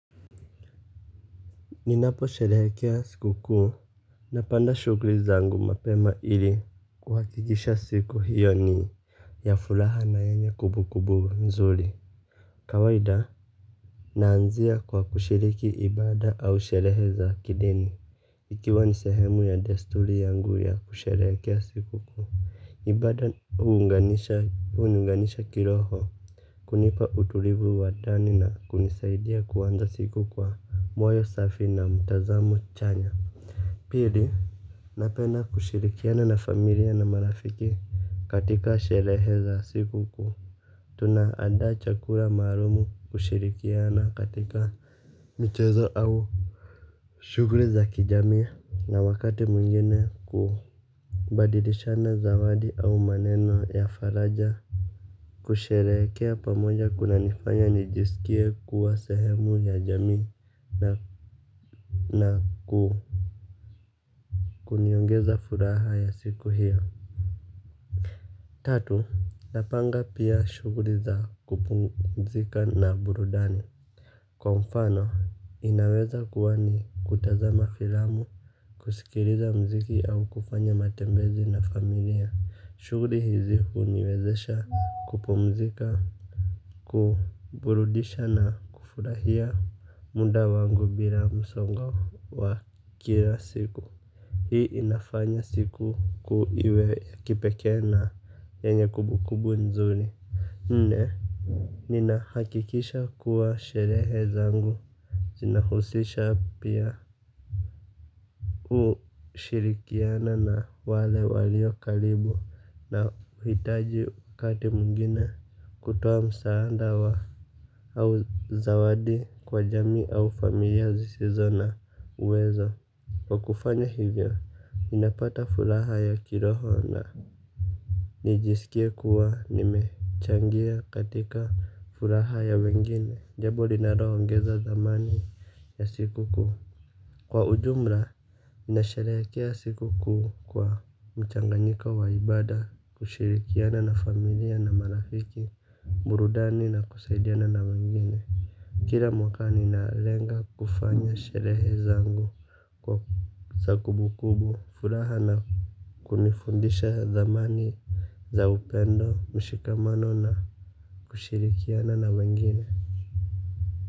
Ninapo sherekea siku kuu napanda shugri zangu mapema ili kuhakigisha siku hiyo nii ya fulaha na enye kubu kubu mzuri. Kawahida. Naanzia kwa kushiriki ibada au sherehe za kideni. Ikiwa ni sehemu ya desturi yangu ya kusherehekea siku kuu. Ibada huniunganisha kiroho. Kunipa utulivu wa ndani na kunisaidia kuanza siku kwa moyo safi na mtazamo chanya. Pili napenda kushirikiana na familia na marafiki katika sherehe za siku kuu. Tunaandaa chakula maalumu kushirikiana katika michezo au shughuli za kijamii na wakati mwingine ku badilishana zawadi au maneno ya faraja. Kusherehekea pamoja kunanifanya nijisikie kuwa sehemu ya jamii na ku kuniongeza furaha ya siku hio. Tatu, napanga pia shughuli za kupumzika na burudani. Kwa mfano, inaweza kuwa ni kutazama filamu, kusikiliza muziki au kufanya matembezi na familia. Shughuli hizi huniwezesha kupumzika, kuburudisha na kufurahia muda wangu bila msongo wa kila siku. Hii inafanya siku iwe ya kipekee na yenye kumbukumbu nzuri. Nne, ninahakikisha kuwa sherehe zangu zinahusisha pia ushirikiana na wale waliokaribu na hitaji wakati mwingine kutoa msaada au zawadi kwa jamii au familia zisizo na uwezo. Kwa kufanya hivyo, ninapata furaha ya kiroho na nijisikie kuwa nimechangia katika furaha ya wengine. Jambo linaloongeza thamani ya siku kuu. Kwa ujumla, ninasharehekea siku kuu kwa mchanganyiko wa ibada kushirikiana na familia na marafiki, burudani na kusaidiana na wengine. Kila mwaka ninalenga kufanya sherehe zangu kwa kza kumbukumbu furaha na kunifundisha thamani za upendo mshikamano na kushirikiana na wengine.